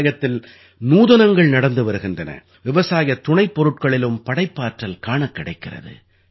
விவசாயத்தில் நூதனங்கள் நடந்து வருகின்றன விவசாயத் துணைப் பொருட்களிலும் படைப்பாற்றல் காணக் கிடைக்கிறது